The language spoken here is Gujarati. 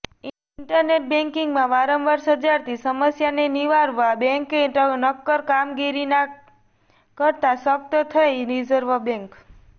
ઈન્ટરનેટ બેન્કિંગમાં વારંવાર સર્જાતી સમસ્યાને નિવારવા બેંકે નક્કર કામગીરી ના કરતા સખ્ત થઈ રીઝર્વ બેન્ક